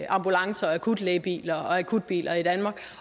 ambulancer og akutlægebiler akutbiler i danmark